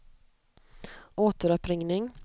återuppringning